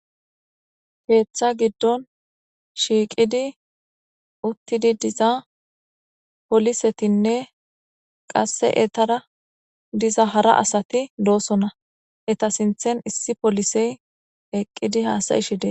Heeththa giddon shiiqidi uttidi diza polisetinne qasse etara diza hara asati doosona eta sinthen issi polisey eqqidi haasayishidee